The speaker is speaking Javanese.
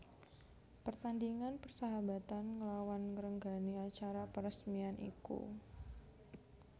Pertandingan persahabatan nglawan ngrenggani acara peresmian iku